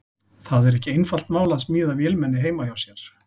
Það er ekki einfalt mál að smíða vélmenni heima hjá sér.